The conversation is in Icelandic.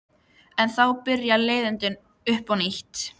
En þá byrja leiðindin upp á nýtt!